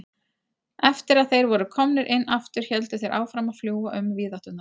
Eftir að þeir voru komnir inn aftur héldu þeir áfram að fljúga um víðátturnar.